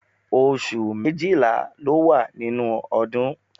Oṣù méjìlá ló wà nínú ọdún